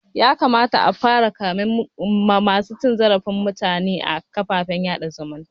Ya kamata a fara kamen masu cin zarafin mutume a kafafen sada zumunta